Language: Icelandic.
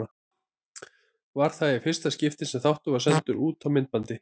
Var það í fyrsta skipti sem þáttur var sendur út á myndbandi.